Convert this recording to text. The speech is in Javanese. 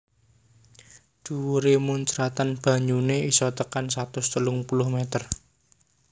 Dhuwuré muncratan banyuné isa tekan satus telung puluh meter